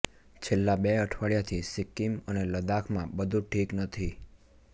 છેલ્લા બે અઠવાડિયાથી સિક્કિમ અને લદાખમાં બધુ ઠીક નથી